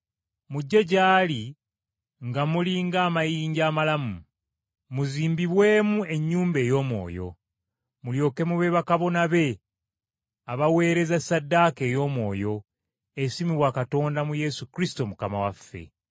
Mujje gy’ali nga muli ng’amayinja amalamu, muzimbibwemu ennyumba ey’omwoyo. Mulyoke mube bakabona be abaweereza ssaddaaka ey’omwoyo, esiimibwa Katonda mu Yesu Kristo Mukama waffe.